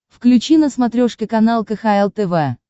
включи на смотрешке канал кхл тв